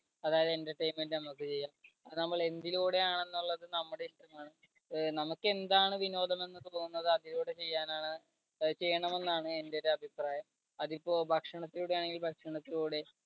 അതായത് entertainment നമുക്ക് ചെയ്യാം. നമ്മൾ എന്തിലൂടെയാണ് എന്നുള്ളത് നമ്മുടെ ഇഷ്ടമാണ്. നമുക്ക് എന്താണ് വിനോദമെന്നു തോന്നുന്നത് അതിലൂടെ ചെയ്യാനാണ് ചെയ്യണമെന്നാണ് എൻടെ ഒരു അഭിപ്രായം അതിപ്പോ ഭക്ഷണത്തിലൂടെ ആണെങ്കിൽ ഭക്ഷണത്തിലൂടെ